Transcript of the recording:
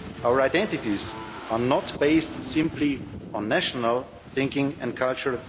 Our identities are not based simply on national thinking and culture